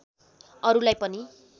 अरुलाई पनि